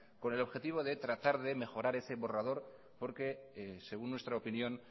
con el objetivo de tratar de mejorar ese borrador porque según nuestra opinión